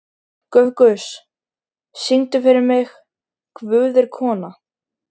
Dufgus, syngdu fyrir mig „Guð er kona“.